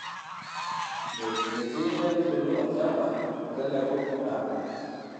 Metii nkaitubulu olchamba meteleku naabik.